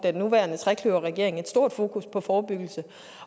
nu trekløverregeringen et stort fokus på forebyggelse